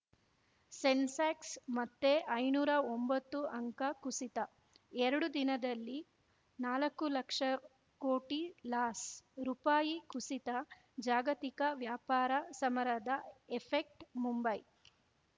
ಸೆನ್ಸೆಕ್ಸ್ ಮತ್ತೆ ಐನೂರಾ ಒಂಬತ್ತು ಅಂಕ ಕುಸಿತ ಎರಡು ದಿನದಲ್ಲಿ ನಾಲಕ್ಕು ಲಕ್ಷ ಕೋಟಿ ಲಾಸ್‌ ರುಪಾಯಿ ಕುಸಿತ ಜಾಗತಿಕ ವ್ಯಾಪಾರ ಸಮರದ ಎಫೆಕ್ಟ್ ಮುಂಬೈ